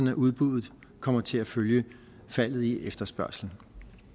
at udbuddet kommer til at følge faldet i efterspørgslen